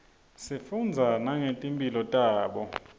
sifundza nangeti mphilo tabo